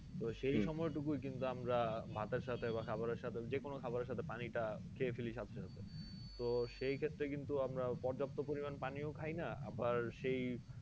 তো সেই সময় টুকুই কিন্তু আমরা ভাতের সাথে খাবার সাথে যে কোনো খাবার সাথে পানি টা খেয়ে ফেলি সাথে সাথে তো সেই ক্ষেত্রে কিন্তু আমরা পর্যাপ্ত পরিমান পানিও খাইনা আবার সেই